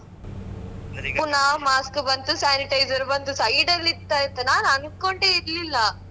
ಪುನಾ mask ಕು ಬಂತು sanitizer ಬಂತು side ಅಲ್ ಇತ್ತಾಯ್ತಾ ನಾನ್ ಅಂಕೊಂಡೇ ಇರ್ಲಿಲ್ಲ.